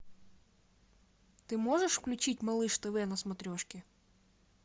ты можешь включить малыш тв на смотрешке